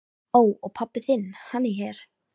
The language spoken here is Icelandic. Ó. Og pabbi þinn, hann er hér?